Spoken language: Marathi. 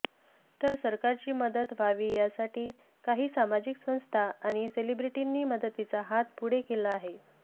तर सरकारची मदत व्हावी यासाठी काही सामाजिक संस्था आणि सेलिब्रिटींनी मदतीचा हात पुढे केला आहे